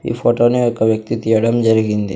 ఈ ఫోటోని ఒక వ్యక్తి తీయడం జరిగింది.